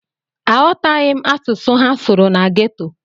Aghọtaghị m asụsụ ha sụrụ na geto.